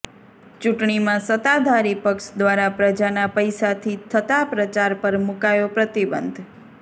ચૂંટણીમાં સત્તાધારી પક્ષ દ્વારા પ્રજાના પૈસાથી થતાં પ્રચાર પર મૂકાયો પ્રતિબંધ